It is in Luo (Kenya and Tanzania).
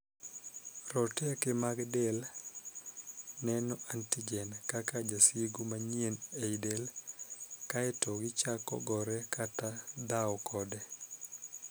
Roteke mag del neno 'antigen' kaka jasigu manyien ei del, kaeto gichako gore kata dhaw kode.